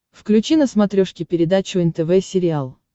включи на смотрешке передачу нтв сериал